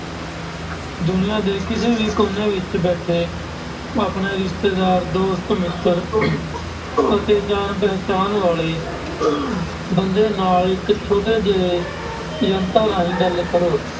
ਦੁਨੀਆਂ ਦੇ ਕਿਸੇ ਵੀ ਕੋਨੇ ਵਿੱਚ ਬੈਠੇ ਆਪਣੇ ਰਿਸ਼ਤੇਦਾਰ, ਦੋਸਤ, ਮਿੱਤਰ ਅਤੇ ਜਾਣ ਪਹਿਚਾਣ ਵਾਲੇ ਬੰਦੇ ਨਾਲ ਇੱਕ ਛੋਟੇ ਜਿਹੇ ਯੰਤਰ ਰਾਹੀਂ ਗੱਲ ਕਰੋ।